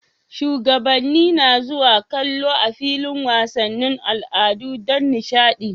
Shugabanni na zuwa kallon a filin wasannin al'adu Dan dishadi